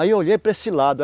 Aí eu olhei para esse lado.